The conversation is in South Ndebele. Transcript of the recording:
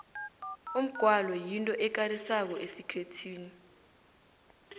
umgwalo yinto ekarisako esikhethwini